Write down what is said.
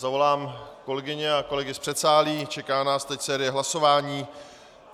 Zavolám kolegyně a kolegy z předsálí, čeká nás teď série hlasování.